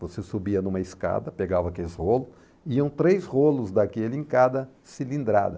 Você subia numa escada, pegava aqueles rolos, iam três rolos daquele em cada cilindrada.